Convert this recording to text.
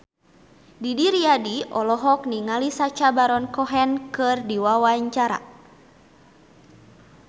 Didi Riyadi olohok ningali Sacha Baron Cohen keur diwawancara